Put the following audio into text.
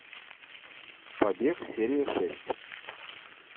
побег серия шесть